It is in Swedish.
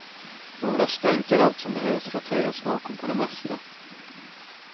Några stänk är allt som behövs för att höja smaken på det mesta.